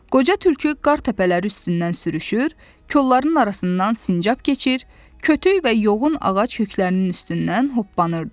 Qoca tülkü qar təpələri üstündən sürüşür, kolların arasından sincap keçir, kütüyün və yoğun ağac köklərinin üstündən hoppanırdı.